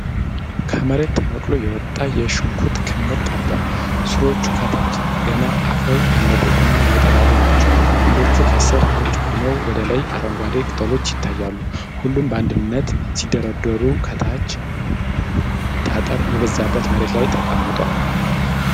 ከመሬት ተነቅሎ የወጣ የሽንኩርት ክምር ቀርቧል። ሥሮቹ ከታች ገና አፈር ያልለቀቁና ነጣ ያሉ ናቸው። ግንዶቹ ከስር ነጭ ሆነው ወደ ላይ በአረንጓዴ ቅጠሎች ይለያሉ። ሁሉም በአንድነት ሲደረደሩ ከታች ጠጠር የበዛበት መሬት ላይ ተቀምጠዋል።